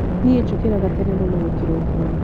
Nie njũkĩraga tene mũno o kĩroko.